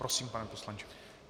Prosím, pane poslanče.